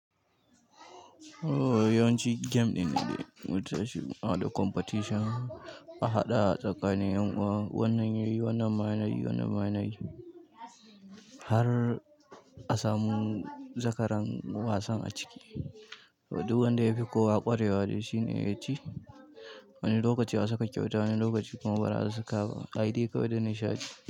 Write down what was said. Ooo, yawanci game ɗin ne da ya wuce shi, ana competition a haɗa tsakanin ƴan uwa. Wannan yayi, wannan ma yana yi, wannan ma yana yi har a samu zakaran wasan a ciki. Duk wanda ya fi kowa ƙware wa shine ya ci. Wani lokaci a saka kyauta, wani lokaci kuma bada a saka ba ayi dai kawai dan nishaɗi.